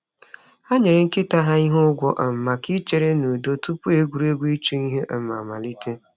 Ha nyere nkịta ha ihe ụgwọ um maka ichere n’udo tupu egwuregwu ịchụ ihe um amalite.